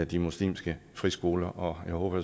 de muslimske friskoler og jeg håber